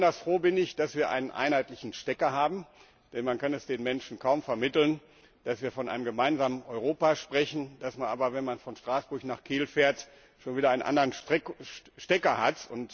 Besonders froh bin ich darüber, dass wir einen einheitlichen Stecker haben, denn man kann es den Menschen kaum vermitteln, dass wir von einem gemeinsamen Europa sprechen, dass man aber, wenn man von Straßburg nach Kehl fährt, schon wieder einen anderen Stecker hat.